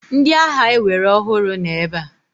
Ndị agha ewere ọhụrụ nọ ebe a.